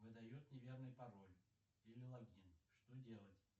выдает неверный пароль или логин что делать